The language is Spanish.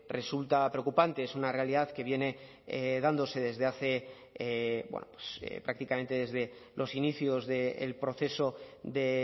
resulta preocupante es una realidad que viene dándose desde hace prácticamente desde los inicios del proceso de